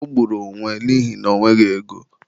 O gburu onwe n'ihina ọ nweghị ego.